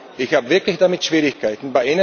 Aber ich habe wirklich damit Schwierigkeiten.